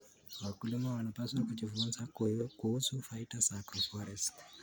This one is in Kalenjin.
Wakulima wanapaswa kujifunza kuhusu faida za agroforestry.